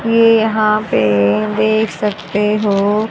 ये यहां पे देख सकते हो--